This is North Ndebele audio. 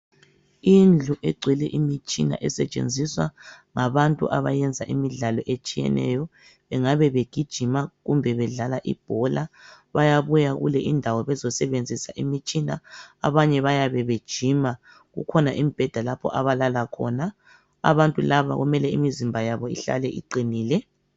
Indlu egcwele imitshina esetshenziswa ngabantu abayenza imidlalo etshiyeneyo. Bengabe begijima kumbe bedlala ibhola. Bayabuya kule indawo bezosebenzisa imitshina, abanye bayabe bejima. Kukhona imibheda lapho abalala khona. Abantu laba kumele imizimba yabo ihlale iqinile.